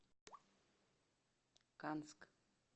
канск